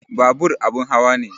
Babur abin hawa ne